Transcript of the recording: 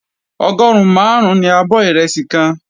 Ọgọrun marun ní abọ́ ìrẹsì kan.